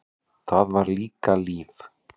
Það var þá líka líf!